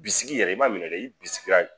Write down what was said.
Bisiki yɛrɛ i ma minɛ dɛ i bisikira